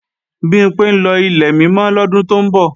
Bimpé ń lọ Ilẹ̀ Mímọ́ lọ́dún tó ń bọ̀